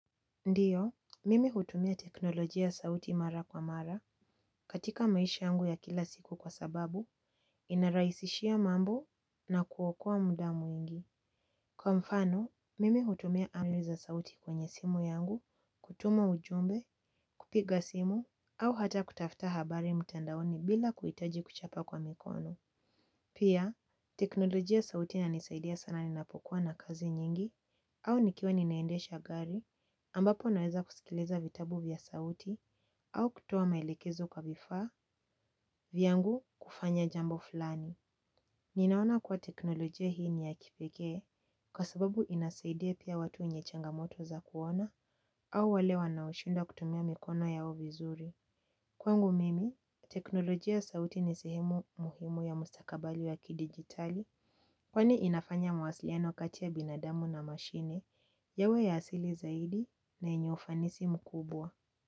Ndio, mimi hutumia teknolojia ya sauti mara kwa mara, katika maisha yangu ya kila siku kwa sababu, inarahisishia mambo na kuokoa muda mwingi. Kwa mfano, mimi hutumia amri za sauti kwenye simu yangu, kutuma ujumbe, kupiga simu, au hata kutafta habari mtandaoni bila kuhitaji kuchapa kwa mikono. Pia, teknolojia ya sauti ina nisaidia sana ninapokuwa na kazi nyingi au nikiwa ninaendesha gari ambapo naweza kusikiliza vitabu vya sauti au kutoa maelekezo kwa vifaa vyangu kufanya jambo fulani. Ninaona kuwa teknolojia hii ni ya kipekee kwa sababu inasaidia pia watu wenye changamoto za kuona au wale wanaoshindwa kutumia mikono yao vizuri. Kwangu mimi, teknolojia sauti ni sehemu muhimu ya mustakabali wa kidigitali kwani inafanya mawasiliano kati ya binadamu na mashine, yawe ya asili zaidi na yenye ufanisi mkubwa.